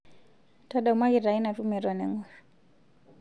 ntadamuaki taa ina tumo eton engor